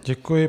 Děkuji.